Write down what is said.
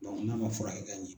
n'a man furakɛ ka ɲɛ.